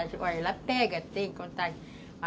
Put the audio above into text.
Olha, ela pega, tem contato.